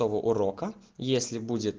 урока если